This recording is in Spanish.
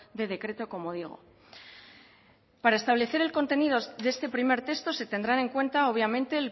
de decreto como digo para establecer el contenido de este primer texto se tendrán en cuenta obviamente